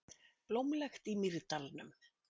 Blómlegt í Mýrdalnum